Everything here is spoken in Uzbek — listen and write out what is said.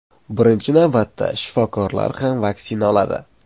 Birinchi navbatda shifokorlar ham vaksina oladi.